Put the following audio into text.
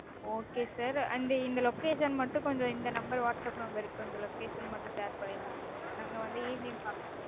okay sir and இந்த location மட்டும் இந்த number whatsapp number க்கு கொஞ்சம் location மட்டும் share பண்ணிருங்க sir. நாங்க வந்து evening பாக்கறோம்.